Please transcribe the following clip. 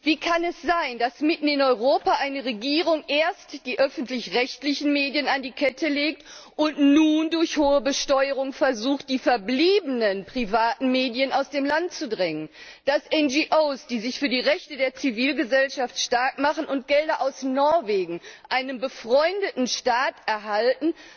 Wie kann es sein, dass mitten in Europa eine Regierung erst die öffentlich rechtlichen Medien an die Kette legt und nun durch hohe Besteuerung versucht, die verbliebenen privaten Medien aus dem Land zu drängen, dass NGO, die sich für die Rechte der Zivilgesellschaft stark machen und Gelder aus Norwegen, einem befreundeten Staat, erhalten,